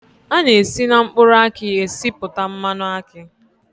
A na-esi na mkpụrụ aki esipụta mmanụ akị